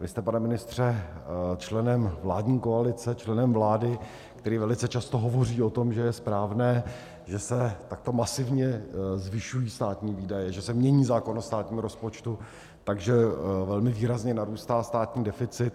Vy jste, pane ministře, členem vládní koalice, členem vlády, který velice často hovoří o tom, že je správné, že se takto masivně zvyšují státní výdaje, že se mění zákon o státním rozpočtu, takže velmi výrazně narůstá státní deficit.